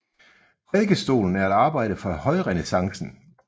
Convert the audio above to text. Prædikestolen er et arbejde fra højrenæssancen